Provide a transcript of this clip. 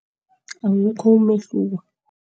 Awukho umehluko.